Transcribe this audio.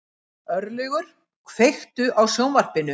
Örlygur, kveiktu á sjónvarpinu.